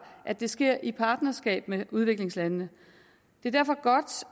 at det sker i partnerskab med udviklingslandene det er derfor godt